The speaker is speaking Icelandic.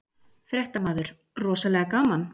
Fréttamaður: Rosalega gaman?